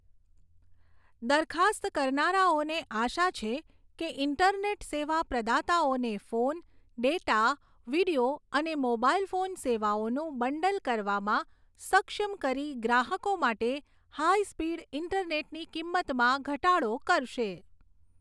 દરખાસ્ત કરનારાઓને આશા છે કે તે ઈન્ટરનેટ સેવા પ્રદાતાઓને ફોન, ડેટા, વિડિયો અને મોબાઈલ ફોન સેવાઓનું બંડલ કરવામાં સક્ષમ કરી ગ્રાહકો માટે હાઈ સ્પીડ ઈન્ટરનેટની કિંમતમાં ઘટાડો કરશે.